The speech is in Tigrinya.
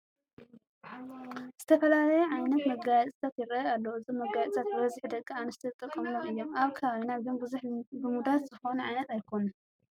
ዝተፈላለዩ ዓይነት መጋየፅታት ይርአዩ ኣለዉ፡ እዞም መጋየፅታት ብበዝሒ ደቂ ኣንስትዮ ዝጥቀማሎም እዮም፡፡ ኣብ ከባብና ግን ብዙሕ ልሙዳት ዝኾኑ ዓይነት ኣይኮኑ፡፡